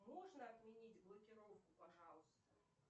можно отменить блокировку пожалуйста